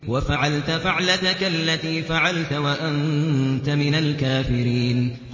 وَفَعَلْتَ فَعْلَتَكَ الَّتِي فَعَلْتَ وَأَنتَ مِنَ الْكَافِرِينَ